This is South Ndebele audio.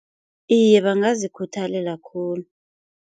Iye bangazikhuthalela khulu.